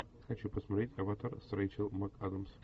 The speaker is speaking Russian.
хочу посмотреть аватар с рэйчел макадамс